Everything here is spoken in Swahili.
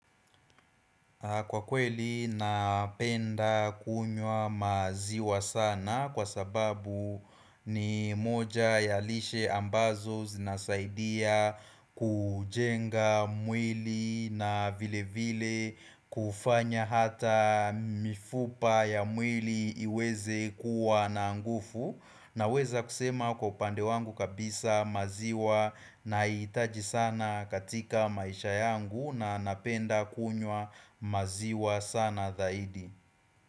Kwa kweli napenda kunywa maziwa sana kwa sababu ni moja ya lishe ambazo zinasaidia kujenga mwili na vile vile kufanya hata mifupa ya mwili iweze kuwa na nguvu Naweza kusema kwa upande wangu kabisa maziwa nahiitaji sana katika maisha yangu na napenda kunywa maziwa sana zaidi.